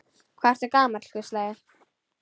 Hvað ertu gamall, hvísla ég.